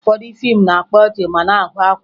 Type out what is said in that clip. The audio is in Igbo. Ụfọdụ fiimu na-akpa ọchị ma na-agụ akwa